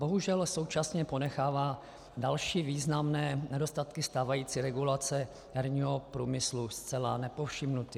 Bohužel současně ponechává další významné nedostatky stávající regulace herního průmyslu zcela nepovšimnuty.